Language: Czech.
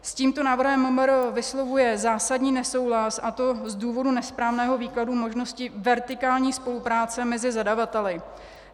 S tímto návrhem MMR vyslovuje zásadní nesouhlas, a to z důvodu nesprávného výkladu možnosti vertikální spolupráce mezi zadavateli.